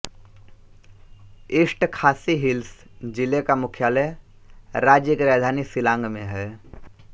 east Khasi Hills जिले का मुख्यालय राज्य की राजधानी शिलांग में है